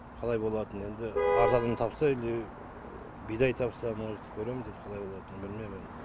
қалай болатынын енді арзанын тапса или бидай тапса может көреміз енді қалай болатынын білмейм